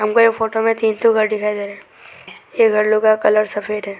हमको ये फोटो में तीन ठो घर दिखाई दे रहा ये घर लोग का कलर सफेद है।